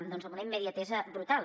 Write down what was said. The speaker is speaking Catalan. doncs amb una immediatesa brutal